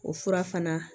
O fura fana